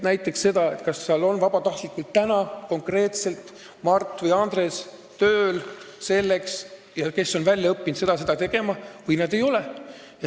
Näiteks kas seal on vabatahtlikud tööl, täna konkreetselt Mart või Andres, kes on saanud väljaõppe seda ja seda tegema, või vabatahtlikke ei ole.